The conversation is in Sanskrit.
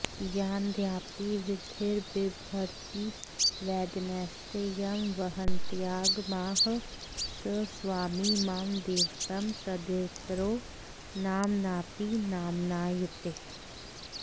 यानद्यापि विधिर्बिभर्ति वदनैस्ते यं वहन्त्यागमाः स स्वामी मम दैवतं तदितरो नाम्नापि नाम्नायते